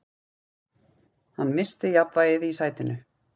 Hann missti jafnvægið í sætinu.